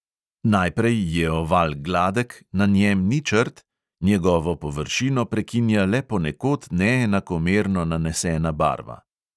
Najprej je oval gladek, na njem ni črt, njegovo površino prekinja le ponekod neenakomerno nanesena barva.